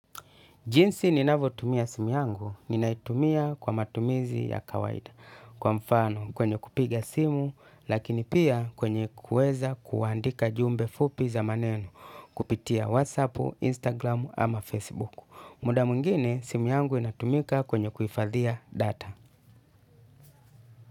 Jinsi ninavotumia simu yangu ninaitumia kwa matumizi ya kawaida kwa mfano kwenye kupiga simu lakini pia kwenye kuweza kuandika jumbe fupi za maneno kupitia whatsapp, instagram ama facebook. Muda mwingine simu yangu inatumika kwenye kuifadhia data.